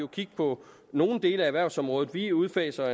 kig på nogle dele af erhvervsområdet vi udfaser